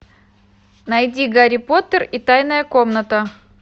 найди гарри поттер и тайная комната